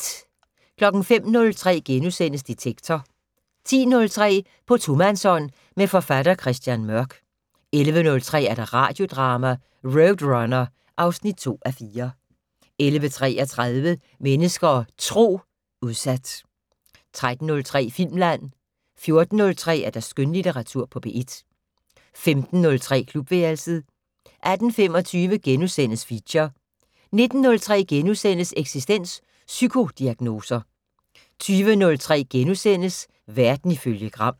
05:03: Detektor * 10:03: På tomandshånd med forfatter Christian Mørk 11:03: Radiodrama: RoadRunner (2:4) 11:33: Mennesker og Tro: Udsat 13:03: Filmland 14:03: Skønlitteratur på P1 15:03: Klubværelset 18:25: Feature * 19:03: Eksistens: Psykodiagnoser * 20:03: Verden ifølge Gram *